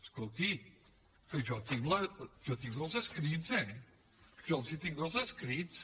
escolti que jo tinc els escrits eh jo els tinc els escrits